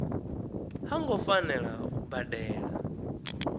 ha ngo fanela u badela